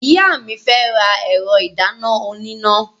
Ìyá mi fẹ́ ra ẹ̀rọ ìdáná oníná.